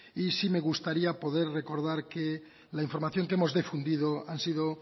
y sí me gustaría poder recordar que la información que hemos difundido han sido